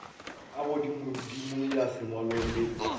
a godimodimo ya sengwalo le